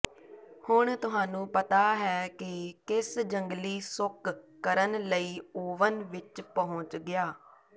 ਹੁਣ ਤੁਹਾਨੂੰ ਪਤਾ ਹੈ ਕਿ ਕਿਸ ਜੰਗਲੀ ਸੁੱਕ ਕਰਨ ਲਈ ਓਵਨ ਵਿਚ ਪਹੁੰਚ ਗਿਆ